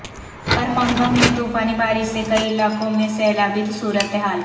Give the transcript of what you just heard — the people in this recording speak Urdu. برمنگھم میں طوفانی بارش سے کئی علاقوں میں سیلابی صورتحال